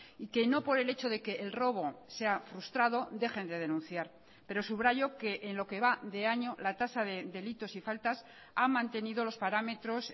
y que no por el hecho de que el robo sea frustrado dejen de denunciar pero subrayo que en lo que va de año la tasa de delitos y faltas han mantenido los parámetros